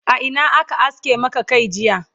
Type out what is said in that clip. a Ina aka aske Maka Kai jiya?